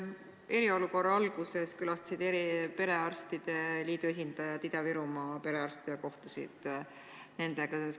Eriolukorra alguses külastasid perearstide liidu esindajad Ida-Virumaa perearste ja kohtusid nendega.